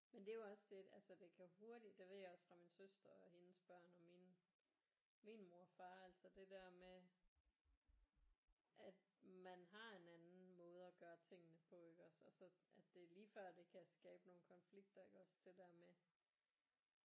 Men det er jo også et altså det kan hurtigt det ved jeg også fra min søster og hendes børn og mine min mor og far altså det der med at man har en anden måde at gøre tingene på iggås og så at det lige før at det kan skabe nogle konflikter iggås det der med